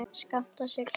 skammta sér sjálfir